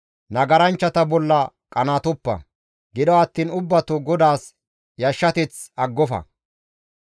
Nagaranchchata bolla qanaatoppa; gido attiin ubbato GODAAS yashshateth aggofa.